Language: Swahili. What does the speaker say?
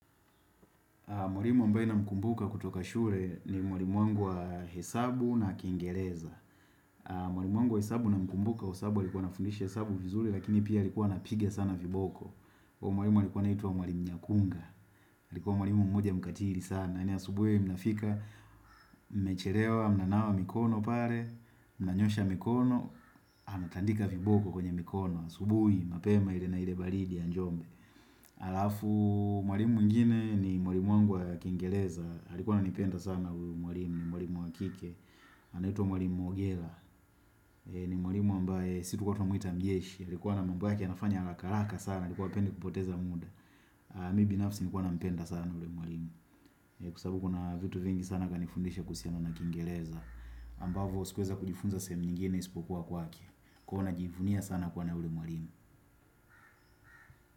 Mkumbuka kutoka shule ni mwalimu wangu wa hesabu na kingereza. Mwalimu wangu wa hesabu na mkumbuka kwasababu alikuwa anafundishi hesabu vizuri lakini pia alikuwa anapiga sana viboko. Mwalimu alikuwa anaitwa mwalimu nyakunga. Alikuwa mwalimu mmoja mkatiri sana. Yaani asubuhi mnafika mchelewa mnanawa mikono pale. Mnanyosha mikono. Anatandika viboko kwenye mikono. Asubuhi mapema ile na ile baridi ya njombe. Alafu mwalimu mwingine ni mwalimu wangu wa kingereza. Alikuwa ananipenda sana uyu mwalimu, ni mwalimu wakike anaitwa mwalimu mwogela ni mwalimu ambaye si tulikuwa tunamwita mjeshi alikuwa ana mambo yake anafanya haraka haraka sana alikuwa hapendi kupoteza muda Mimi binafsi nilikuwa nampenda sana yule mwalimu Kwasababu kuna vitu vingi sana kanifundisha kuhusiana na kingereza ambavo sikuweza kujifunza sehemu nyingine isipokuwa kwake Kwahiyo na jivunia sana kuwa na yule mwarimu.